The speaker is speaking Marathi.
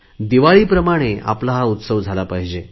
दिवाळीप्रमाणे हा आपला उत्सव झाला पाहिजे